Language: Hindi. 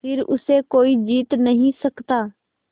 फिर उसे कोई जीत नहीं सकता